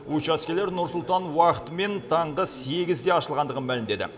учаскелер нұр сұлтан уақытымен сағат сегізде ашылғандығын мәлімдеді